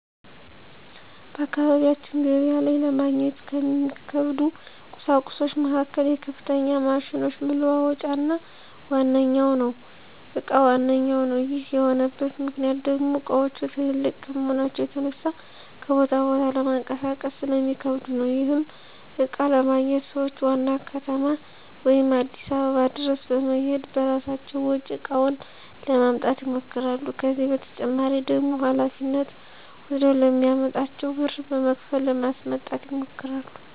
በአካባቢያችን ገበያ ላይ ለማግኘት ከሚከብዱ ቍሳቁሶች መካከል የከፍተኛ ማሽኖች መለዋወጫ እቃ ዋነኛው ነው። ይህ የሆነበት ምክንያት ደሞ እቃዎቹ ትላልቅ ከመሆናቸው የተነሳ ከቦታ ቦታ ለማንቀሳቀስ ስለሚከብዱ ነው። ይህንንም እቃ ለማግኘት ሰዎች ዋና ከተማ ወይም አዲስ አበባ ድረስ በመሔድ በራሳቸው ወጪ እቃውን ለማምጣት ይሞክራሉ። ከዚህ በተጨማሪ ደግሞ ሀላፊነት ወስደ ለሚያመጣላቸው ብር በመክፈል ለማስመጣት ይሞክራሉ።